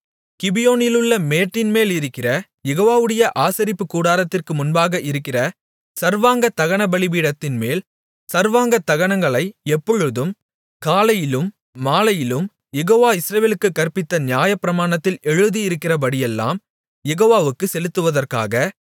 கிபியோனிலுள்ள மேட்டின்மேலிருக்கிற யெகோவாவுடைய ஆசரிப்புக்கூடாரத்திற்கு முன்பாக இருக்கிற சர்வாங்க தகன பலிபீடத்தின்மேல் சர்வாங்கதகனங்களை எப்பொழுதும் காலையிலும் மாலையிலும் யெகோவா இஸ்ரவேலுக்குக் கற்பித்த நியாயப்பிரமாணத்தில் எழுதியிருக்கிறபடியெல்லாம் யெகோவாவுக்குச் செலுத்துவதற்காக